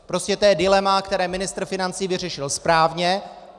Prostě to je dilema, které ministr financí vyřešil správně.